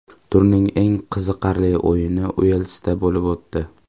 Turning eng qiziqarli o‘yini Uelsda bo‘lib o‘tdi.